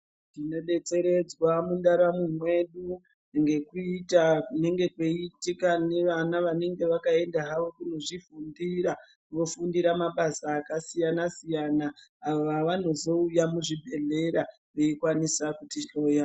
Tinodetseredzwa mundaramo mwedu ngekuita kuneneg kweiitika nevana vanenge vakaenda hawo kunozvifundira vofundira mabasa akasiyana siyana awo ava nozouya muzvibhedhlerera veikwanisa kutihloya.